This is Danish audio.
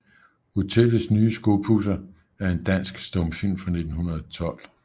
Hotellets nye Skopudser er en dansk stumfilm fra 1912